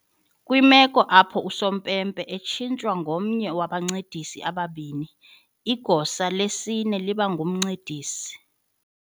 Kwimeko apho usompempe etshintshwa ngomnye wabancedisi ababini, igosa lesine liba ngumncedisi.